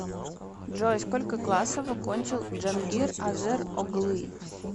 джой сколько классов окончил джангир азер оглы